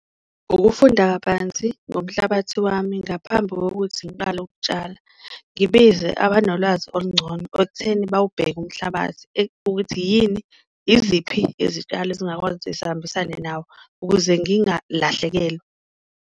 Ukufunda kabanzi ngomnhlabathi wami ngaphambi kokuthi ngiqale ukutshala, ngibize abanolwazi olungcono ekutheni bawubheke umhlabathi ukuthi, iziphi izitshalo ezingakwazi zihambisane nawo ukuze ngingalahlekelwa.